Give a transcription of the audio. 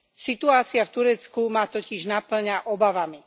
Situácia v Turecku ma totiž napĺňa obavami.